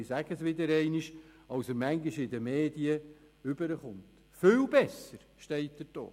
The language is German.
In der Regierung fiel einmal der Spruch: